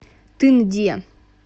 тынде